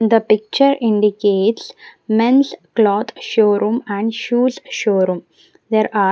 The picture indicates men's cloth showroom and shoes showroom there are --